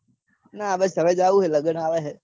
ના બસ હવે જાઉં હે લગન આવે હે.